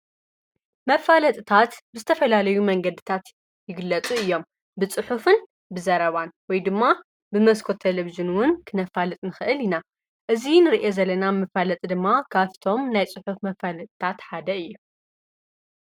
መፋለጥታት ብዝተፈላለዩ መንገድታት ይግለፁ እዩም። ብፅሑፍን ብዘረባን ወይ ድማ በመስኮት ቴሊቪዥን እውን ክነፋልጥ ንክእል ኢና፡፡ እዚ እንሪኦ ዘለና መፋለጢ ድማ ካብቶም ናይ ፁሑፍ መፋለጥታት ሓደ እዩ፡፡